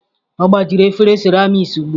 Ọ gbajiri efere seramiiki ugbu a.